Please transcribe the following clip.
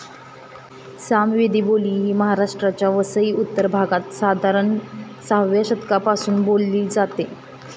सामवेदी बोली ही महाराष्ट्राच्या वसई उत्तर भागात, साधारण सहाव्या शतकापासून बोलली जाते.